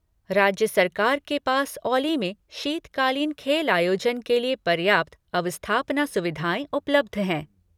राज्य सरकार के पास औली में शीतकालीन खेल आयोजन के लिए पर्याप्त अवस्थापना सुविधाएं उपलब्ध हैं।